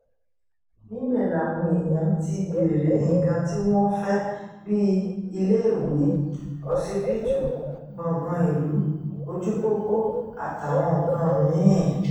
níbẹ̀ làwọn èèyàn ti béèrè nǹkan tí wọ́n fẹ́ bíi iléèwé ọsibítù gbọ̀ngàn ìlú ojúpọ́pọ́ àtàwọn nǹkan mí-ín